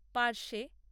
পার্শে